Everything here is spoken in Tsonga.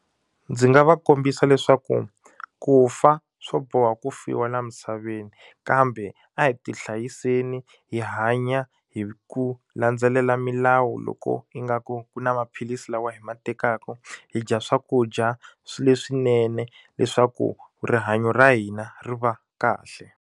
Ndzi nga va kombisa leswaku ku fa swo boha ku fiwa laha misaveni kambe a hi ti hlayiseni hi hanya hi ku landzelela milawu loko ingaku ku na maphilisi lawa hi ma tekaka hi dya swakudya swa leswinene leswaku rihanyo ra hina ri va kahle.